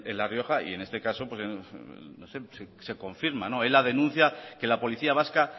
la rioja y en este caso se confirma la denuncia que la policía vasca